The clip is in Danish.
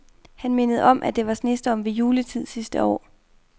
Han mindede om, at der var snestorm ved juletid sidste år.